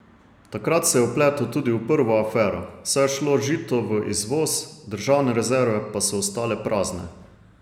Takrat se je vpletel tudi v prvo afero, saj je šlo žito v izvoz, državne rezerve pa so ostale prazne.